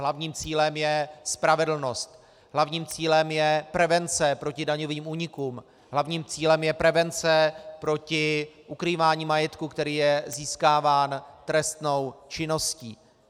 Hlavním cílem je spravedlnost, hlavním cílem je prevence proti daňovým únikům, hlavním cílem je prevence proti ukrývání majetku, který je získáván trestnou činností.